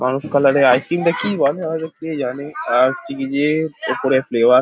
মানুষ কালার -এ ice cream কি নাকি হয়তো কে জানে আর হচ্ছে কি যে ওপরে ফ্লেভার --